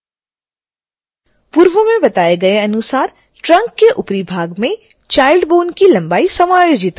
पूर्व में बताए गए अनुसार trunk के ऊपरी भाग में child bone की लंबाई समायोजित करें